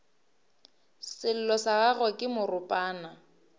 sello sa gagwe ke moropana